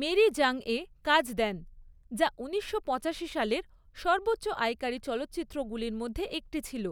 Mary জংয়ে কাজ দেন, যা ঊনিশশো পঁচাশি সালের সর্বোচ্চ আয়কারী চলচ্চিত্রগুলির মধ্যে একটি ছিল।